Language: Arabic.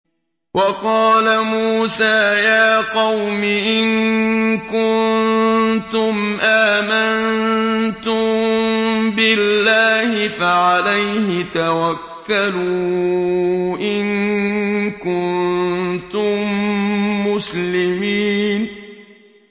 وَقَالَ مُوسَىٰ يَا قَوْمِ إِن كُنتُمْ آمَنتُم بِاللَّهِ فَعَلَيْهِ تَوَكَّلُوا إِن كُنتُم مُّسْلِمِينَ